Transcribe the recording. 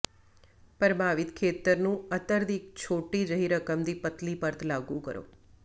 ਪ੍ਰਭਾਵਿਤ ਖੇਤਰ ਨੂੰ ਅਤਰ ਦੀ ਇੱਕ ਛੋਟੀ ਜਿਹੀ ਰਕਮ ਦੀ ਪਤਲੀ ਪਰਤ ਲਾਗੂ ਕਰੋ